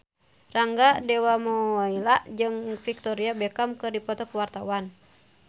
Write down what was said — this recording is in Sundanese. Rangga Dewamoela jeung Victoria Beckham keur dipoto ku wartawan